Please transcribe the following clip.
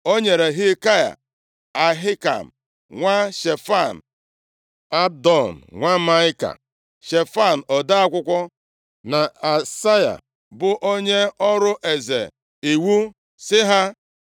O nyere Hilkaya, Ahikam nwa Shefan, Abdon nwa Maịka, Shefan ode akwụkwọ na Asaya, bụ onye ọrụ eze, iwu, sị ha,